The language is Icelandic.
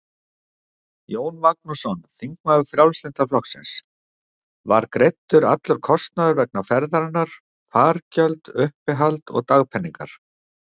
Jón Magnússon, þingmaður Frjálslynda flokksins: Var greiddur allur kostnaður vegna ferðarinnar, fargjöld, uppihald og dagpeningar?